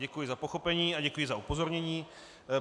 Děkuji za pochopení a děkuji za upozornění.